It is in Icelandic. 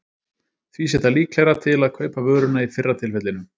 Því sé það líklegra til að kaupa vöruna í fyrra tilfellinu.